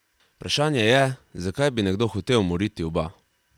Vprašanje je, zakaj bi nekdo hotel umoriti oba?